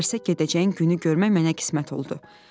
Dərsə gedəcəyin günü görmək mənə qismət oldu.